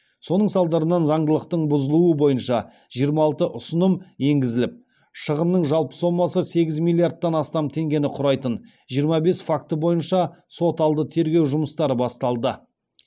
соның салдарынан заңдылықтың бұзылуы бойынша жиырма алты ұсыным енгізіліп шығынның жалпы сомасы сегіз миллиардтан астам теңгені құрайтын жиырма бес факті бойынша сот алды тергеу жұмыстары басталды